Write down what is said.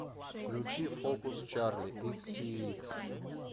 включи фокус чарли икссиикс